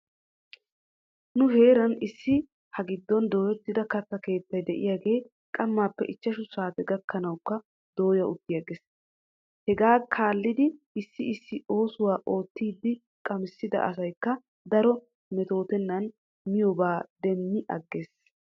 Nu heera issi ha giddon dooyettida katta keettay diyaagee qamaappe ichchshu saate gakkanawkka dooya uttiges. Hegaa kaalidi issi issi oosuwaa oottiiddi qamissida asaykka daro mettotennan miyoobaa demmi agges.